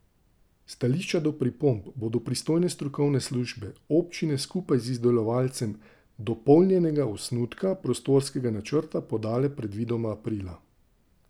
Stališča do pripomb bodo pristojne strokovne službe občine skupaj z izdelovalcem dopolnjenega osnutka prostorskega načrta podale predvidoma aprila.